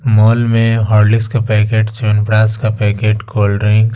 mall में Horlicks का packet chyawanprash का पैकेट कोल्ड-ड्रिंक्स --